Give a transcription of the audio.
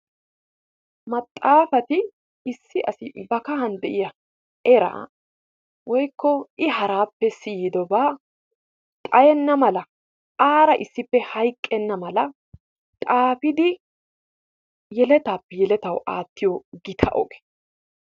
Maxaafati issi asi eta kahan de"iya eraa woykko i haraappe siyidobaa xayenna mala aara issippe hayqqenna mala xaafidi yeletaappe yeletawu aattiyo gita oge.